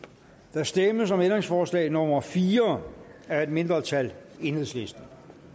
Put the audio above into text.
der stemmes om ændringsforslag nummer fire af et mindretal enhedslisten